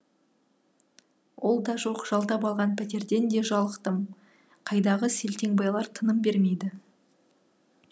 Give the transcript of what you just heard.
ол да жоқ жалдап алған пәтерден де жалықтым қайдағы селтеңбайлар тыным бермейді